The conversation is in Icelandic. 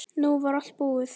Nú var allt búið.